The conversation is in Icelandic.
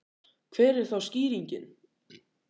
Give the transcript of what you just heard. Hver er þá skýringin?